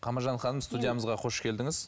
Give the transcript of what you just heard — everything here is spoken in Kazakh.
қамажан ханым студиямызға қош келдіңіз